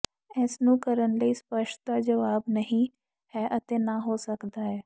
ਇਸ ਨੂੰ ਕਰਨ ਲਈ ਸਪਸ਼ਟ ਦਾ ਜਵਾਬ ਨਹੀ ਹੈ ਅਤੇ ਨਾ ਹੋ ਸਕਦਾ ਹੈ